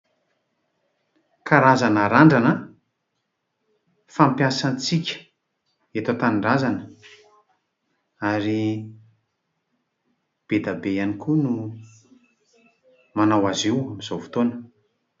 Karazana randrana fampiasantsika eto an-tanindrazana ary be dia be ihany koa no manao azy io amin'izao fotoana.